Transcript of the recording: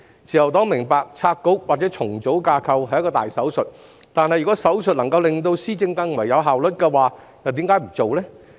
自由黨明白拆局或重組架構是一個大手術，但如果手術能令施政更有效率，為何不實行呢？